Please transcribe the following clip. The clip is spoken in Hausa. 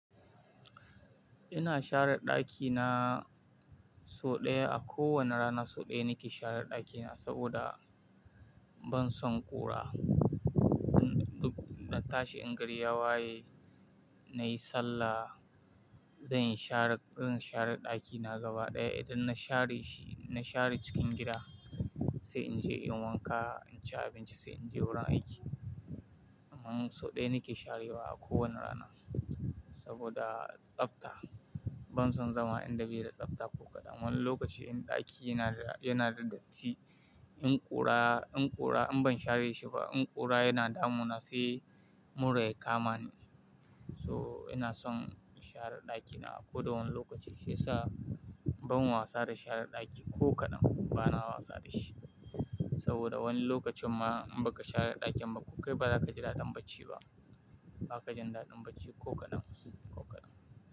Ina share ɗakina sau ɗaya. A kowane rana so ɗaya nake share ɗakina saboda ban son ƙura. In ɗau-- na tashi in gari ya waye, na yi sallah, zan yi share, zan share ɗakina gaba ɗaya. Idan na share shi, na share cikin gida sai in je in wanka, in ci abinci sai in je wurin aiki. Amma so ɗaya nake sharewa a kowane rana saboda tsafta. Ban son zama in da bi da tsafta ko kaɗan. Wani lokacin ɗaki yana da, yana da datti. In ƙura, in ƙura in ban share shi ba, in ƙura yana damuna sai mura ya kama ni. So ina son share ɗakina a kowa wani lokaci shiyasa ban wasa da share ɗaki ko kaɗan. Bana wasa da shi saboda wani lokacin ma in baka share ɗakin ba, kokai ba za ka ji daɗin bacci ba. Ba ka jin daɗin bacci ko kaɗan, ko kaɗan.